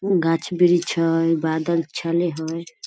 गाछ वृछ हई बादल छले हई ।